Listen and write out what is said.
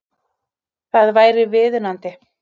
Það væri viðunandi